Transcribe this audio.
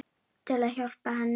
Til að hjálpa henni.